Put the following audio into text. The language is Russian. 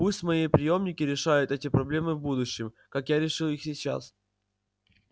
пусть мои приёмники решают эти проблемы в будущем как я решил их сейчас